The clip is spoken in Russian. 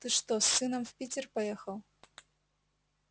ты что с сыном в питер поехал